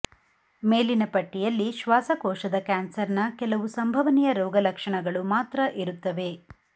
ಮೇಲಿನ ಪಟ್ಟಿಯಲ್ಲಿ ಶ್ವಾಸಕೋಶದ ಕ್ಯಾನ್ಸರ್ನ ಕೆಲವು ಸಂಭವನೀಯ ರೋಗಲಕ್ಷಣಗಳು ಮಾತ್ರ ಇರುತ್ತವೆ